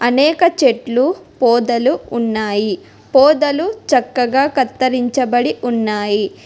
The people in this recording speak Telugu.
అనేక చెట్లు పొదలు ఉన్నాయి పొదలు చక్కగా కత్తరించబడి ఉన్నాయి.